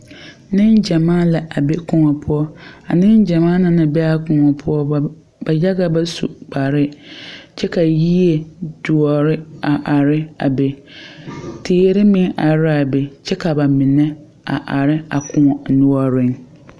Negyamaa la a be koɔ poʊ. A negyamaa na naŋ be a koɔ poʊ, ba yaga ba su kpare. Kyɛ ka yie duore a are a be. Teere meŋ are a be kyɛ ka ba mene a are a koɔ nuoreŋ